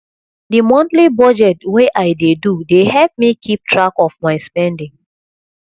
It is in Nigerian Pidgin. the monthly budget wey i dey do dey help me keep track of my spending